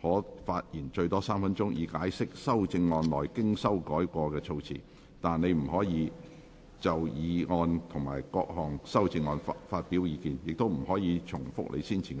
可發言最多3分鐘，以解釋修正案內經修改的措辭，但你不可再就議案及各項修正案發表意見，亦不可重複你先前的發言。